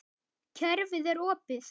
Kerfið er opið.